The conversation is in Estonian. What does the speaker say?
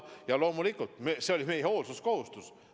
Ja loomulikult, see oli meie hoolsuskohustus.